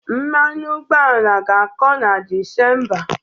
Mmanụ ụgbọala ga-akọ na Disemba.